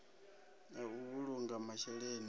ya u vhulunga masheleni ya